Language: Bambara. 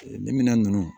Ni minɛn nunnu